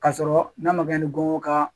K'a sɔrɔ n'a ma kɛ ni gɔngɔn ka